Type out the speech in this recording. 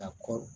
Ka kɔrɔ